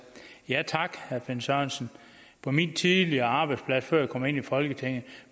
ja tak herre finn sørensen på min tidligere arbejdsplads før jeg kom ind i folketinget